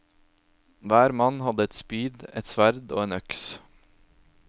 Hver mann hadde ett spyd, ett sverd og en øks.